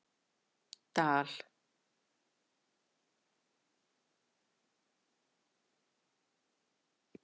Dal